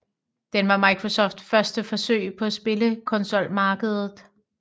Den var Microsofts første forsøg på spillekonsolmarkedet